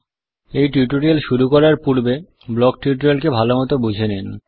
দয়া করে এই টিউটোরিয়াল শুরু করার পূর্বে ব্লক টিউটোরিয়ালকে ভালো মত বুঝে নিন